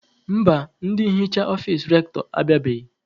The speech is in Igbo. Mba, ndị nhicha ọfici Rektọ abịabeghị.